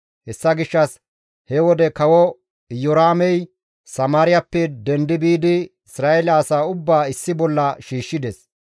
Hessa gishshas he wode kawo Iyoraamey Samaariyappe dendi biidi Isra7eele asaa ubbaa issi bolla shiishshides.